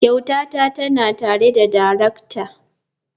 Kyautata tana tare da darakta.